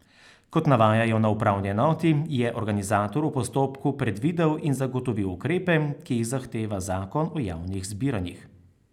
Kot navajajo na upravni enoti, je organizator v postopku predvidel in zagotovil ukrepe, ki jih zahteva zakon o javnih zbiranjih.